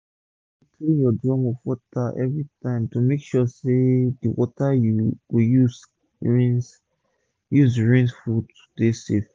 make u dey clean ur drum for water every time to make sure d wata wey u go use rinse use rinse fud dey safe